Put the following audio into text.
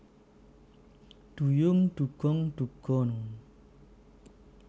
Duyung Dugong Dugon